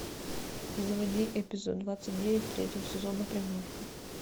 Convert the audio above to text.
заводи эпизод двадцать девять третьего сезона приманка